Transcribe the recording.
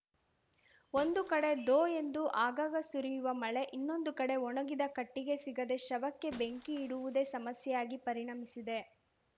ಒಂದು ಕಡೆ ಧೋ ಎಂದು ಆಗಾಗ ಸುರಿಯುವ ಮಳೆ ಇನ್ನೊಂದು ಕಡೆ ಒಣಗಿದ ಕಟ್ಟಿಗೆ ಸಿಗದೆ ಶವಕ್ಕೆ ಬೆಂಕಿ ಇಡುವುದೇ ಸಮಸ್ಯೆಯಾಗಿ ಪರಿಣಮಿಸಿದೆ